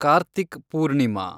Karthik Purnima